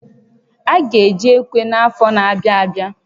A ga eji ekwe n'afọ n'abịa abịa